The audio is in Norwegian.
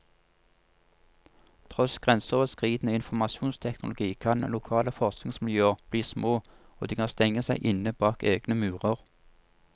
Tross grenseoverskridende informasjonsteknologi kan lokale forskningsmiljøer bli små, og de kan stenge seg inne bak egne murer.